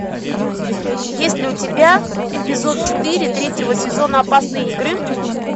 есть ли у тебя эпизод четыре третьего сезона опасные игры